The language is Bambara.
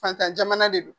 Fatan jamana de don